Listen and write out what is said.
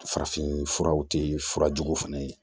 Farafinf furaw tɛ fura jugu fana ye